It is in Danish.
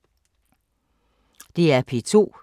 DR P2